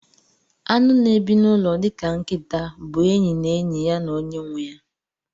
Anụ na ebi nụlọ dika nkita bu enyi na enyi ya na onye nweya.